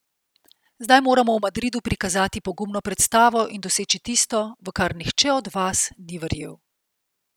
Zdaj moramo v Madridu prikazati pogumno predstavo in doseči tisto, v kar nihče od vas ni verjel.